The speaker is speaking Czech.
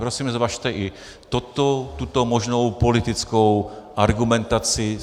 Prosím, zvažte i tuto možnou politickou argumentaci.